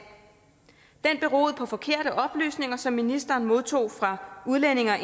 den beroede på forkerte oplysninger som ministeren modtog fra udlændinge og